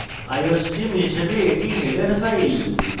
iostream হিসেবে এটি header file